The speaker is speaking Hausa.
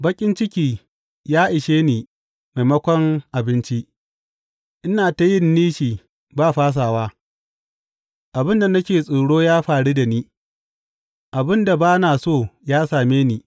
Baƙin ciki ya ishe ni maimakon abinci; ina ta yin nishi ba fasawa; Abin da nake tsoro ya faru da ni; abin da ba na so ya same ni.